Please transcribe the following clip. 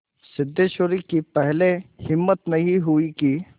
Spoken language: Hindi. सिद्धेश्वरी की पहले हिम्मत नहीं हुई कि